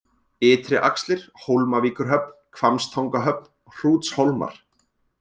Ytri-Axlir, Hólmavíkurhöfn, Hvammstangahöfn, Hrútshólmar